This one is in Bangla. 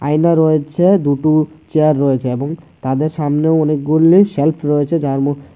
আয়না রয়েছে দুটু চেয়ার রয়েছে এবং তাদের সামনে অনেকগুলি সেল্ফ রয়েছে যার ম--